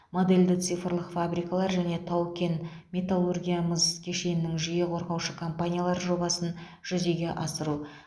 модельді цифрлық фабрикалар және тау кен металлургиямыз кешенінің жүйе құрушы компаниялары жобасын жүзеге асыру